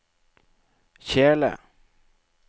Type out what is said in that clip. kjele